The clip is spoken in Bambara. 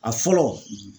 A fɔlɔ